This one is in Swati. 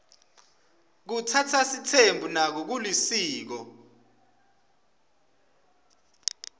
kutsatsa sitsembu nako kulisiko